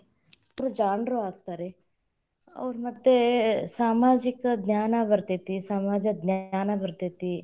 ಮಕ್ಳು ಜಾಣರು ಆಗ್ತಾರೆ, ಅವ್ರು ಮತ್ತೇ ಸಾಮಾಜಿಕ ಜ್ಞಾನ ಬತೇ೯ತಿ, ಸಮಾಜ ಜ್ಞಾನ ಬತೇ೯ತಿ.